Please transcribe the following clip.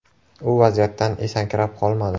U vaziyatdan esankirab qolmadi.